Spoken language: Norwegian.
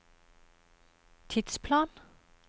tidsplan